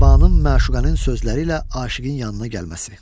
Səbanın məşuqənin sözləri ilə aşiqin yanına gəlməsi.